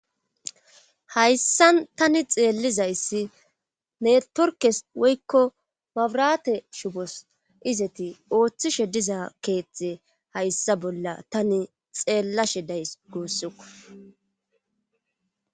hayssan tani xeellizayssi ne torkes woykko babrate shubos izeti ooththishe diza keethte hayssa bolla tani xeellashe days guussuko